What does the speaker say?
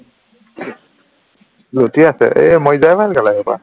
লুটি আছে এৰ মৰিলেহে ভাল এইসোপা